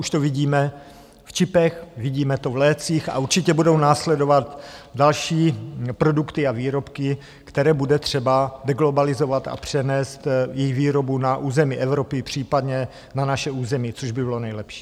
Už to vidíme v čipech, vidíme to v lécích a určitě budou následovat další produkty a výrobky, které bude třeba deglobalizovat a přenést jejich výrobu na území Evropy, případně na naše území, což by bylo nejlepší.